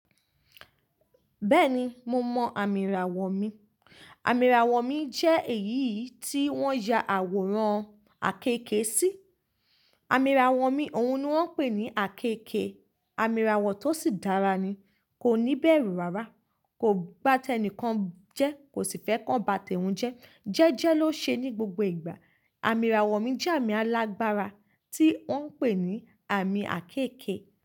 Bẹ́ẹ̀ni, mo mọ amí ìràwọ̀ mi. Amí ìràwọ̀ mi jẹ́ èyí tí wọ́n ya àwòrán àkekè sí. Amí ìràwọ̀ mi, òun ni wọ́n ń pè ní àkekè. Amí ìràwọ̀ tó sì dára ni, kò ní bẹ̀rù rárá, kò bá tẹnìkan jẹ, kò sì fẹ́ kan bà toun je. Jẹ́jẹ́ ló ṣe ní gbogbo ìgbà. Amí ìràwọ̀ mi jẹ́ àmì alágbára tí wọ́n ń pè ní àmì àkekè.